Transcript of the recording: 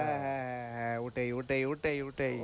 হ্যাঁ হ্যাঁ হ্যাঁ ওটাই ওটাই ওটাই ওটাই,